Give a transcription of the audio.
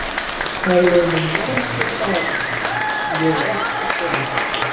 Það eru liðnir margir dagar og ég er ekki kominn aftur.